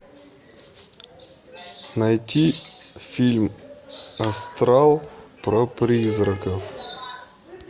найти фильм астрал про призраков